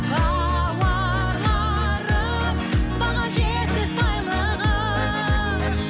бауырларым баға жетпес байлығым